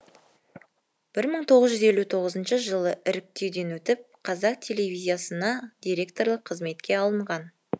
бір мың тоғыз жүз елу тоғызыншы жылы іріктеуден өтіп қазақ телевизиясына дикторлық қызметке алынған